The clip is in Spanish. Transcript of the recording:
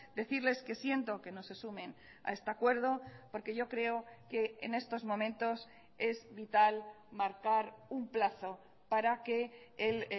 decirles que siento que no se sumen a este acuerdo porque yo creo que en estos momentos es vital marcar un plazo para que el